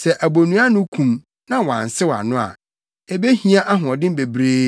Sɛ abonnua ano kum na wɔansew ano a ebehia ahoɔden bebree,